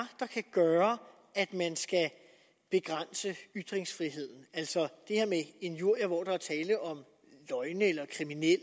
gøre at man skal begrænse ytringsfriheden altså injurier hvor der er tale om løgne eller kriminelle